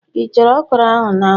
Ị chere okro ahụ n'anwu